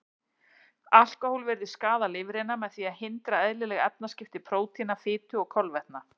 Alkóhól virðist skaða lifrina með því að hindra eðlileg efnaskipti prótína, fitu og kolvetna.